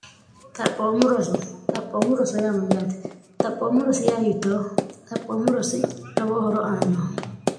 xaphoommu roso xaphoommu roso yaamayyaate xaphoommu rosi ya yiyitoo xaphoommu rosi lowoo horo aanno